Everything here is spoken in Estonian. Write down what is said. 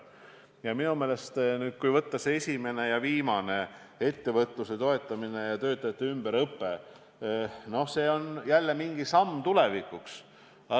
Ja minu meelest on selle loetelu esimene ja viimane liige – ettevõtluse toetamine ja töötajate ümberõpe – jälle mingid sammud tulevikuks.